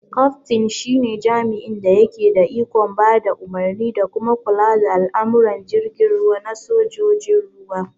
Kaftin shi ne jami'in da yake da ikon ba da umarni da kuma kula da al'amuran jirgin ruwa na sojojin ruwa